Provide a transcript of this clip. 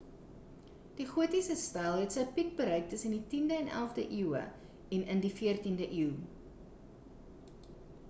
die gotiese styl het sy piek bereik tussen die 10e en 11de eeue en in die 14e eeu